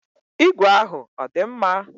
Igwe ahụ ọ dị mma?